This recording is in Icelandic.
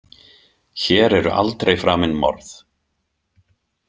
Hér eru aldrei framin morð.